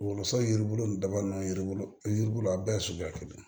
Wolosɛbɛn yiri bolo nin dabali na yiribulu a bɛɛ ye suguya kelen ye